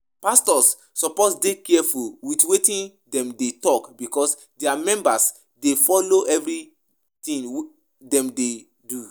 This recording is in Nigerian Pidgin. Pastors suppose dey careful with wetin dem dey talk because dia members dey follow everything dem dey do